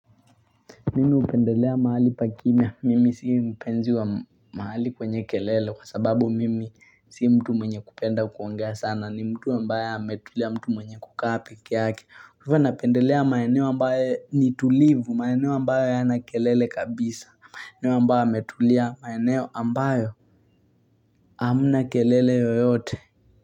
Mimi hupendelea mahali pa kimya, mimi sio mpenzi wa mahali kwenye kelele, kwa sababu mimi sio mtu mwenye kupenda kuongea sana, ni mtu ambaye ametulia mtu mwenye kukaa pekeake. Kwa hivyo napendelea maeneo ambayo ni tulivu, maeneo ambayo hayana kelele kabisa, maeneo ambayo Hamna kelele yoyote.